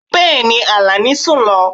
Bẹẹni, Alani sun lo